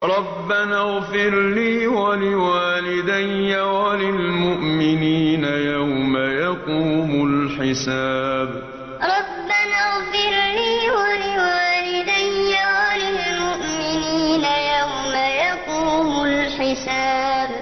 رَبَّنَا اغْفِرْ لِي وَلِوَالِدَيَّ وَلِلْمُؤْمِنِينَ يَوْمَ يَقُومُ الْحِسَابُ رَبَّنَا اغْفِرْ لِي وَلِوَالِدَيَّ وَلِلْمُؤْمِنِينَ يَوْمَ يَقُومُ الْحِسَابُ